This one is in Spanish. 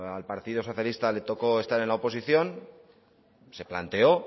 al partido socialista le tocó estar en la oposición se planteó